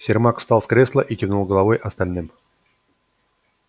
сермак встал с кресла и кивнул головой остальным